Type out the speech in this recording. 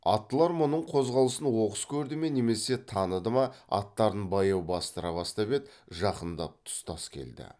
аттылар мұның қозғалысын оқыс көрді ме немесе таныды ма аттарын баяу бастыра бастап еді жақындап тұстас келді